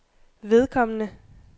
vedkommende